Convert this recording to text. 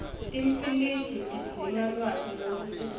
timfiliji tidzinga lwati lolusetulu